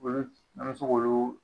Olu, an be se k'olu